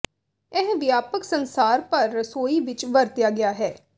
ਇਹ ਵਿਆਪਕ ਸੰਸਾਰ ਭਰ ਰਸੋਈ ਵਿਚ ਵਰਤਿਆ ਗਿਆ ਹੈ